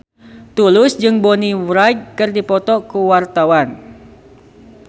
Tulus jeung Bonnie Wright keur dipoto ku wartawan